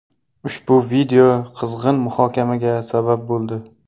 Ushbu video qizg‘in muhokamaga sabab bo‘ldi.